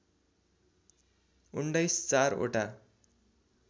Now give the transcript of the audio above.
१९ चार वटा